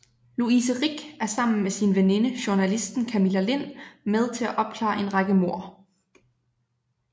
Louise Rick er sammen med sin veninde journalisten Camilla Lind med til at opklare en række mord